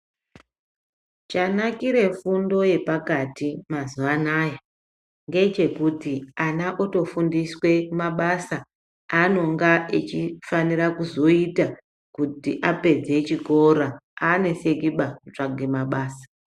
Chanakire fundo yepakati mazuva anaya ngechekuti ana otofundiswa mabasa aanonga eifanira kuzoita kutiapedze chikora, aanesekiba kutsvage mabasa.